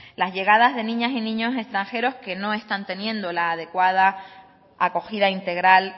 las llegadas de niñas y niños extranjeros que no están teniendo la adecuada acogida integral